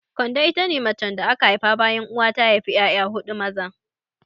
Kande ita ce macen da aka haifa bayan uwa ta haifa 'ya'ya maza huɗu.